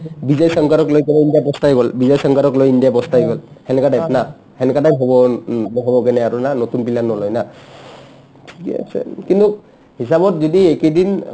বিজয় শংকৰক লৈ কিনে ইণ্ডিয়া পছ্তাই গ'ল বিজয় শংকৰক লৈ ইণ্ডিয়া পছ্তাই গ'ল সেনেকা type না সেনেকা type হ'ব ন উম নহ'বৰ কাৰণে ইহাতৰ নতুন player নলয় না থিকে আছেন কিন্তু হিচাপত যদি এইকেদিন